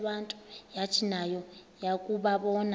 yathi nayo yakuwabona